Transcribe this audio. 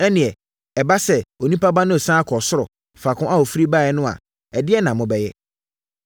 Ɛnneɛ, ɛba sɛ Onipa Ba no resane akɔ ɔsoro, faako a ɔfiri baeɛ no a, ɛdeɛn na mobɛyɛ?